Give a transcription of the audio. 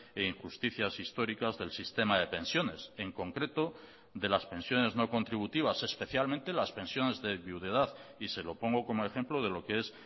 e injusticias históricas del sistema de pensiones en concreto de las pensiones no contributivas especialmente las pensiones de viudedad y se lo pongo como ejemplo de lo que es